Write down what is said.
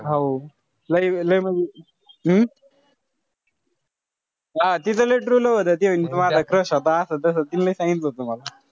हो लय लय म्हणजे हम्म? हा तीच लय true love होत. ती म्हणे माझा crush होता असं तस. तिने लय सांगितलं होत मला.